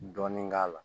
Dɔɔnin k'a la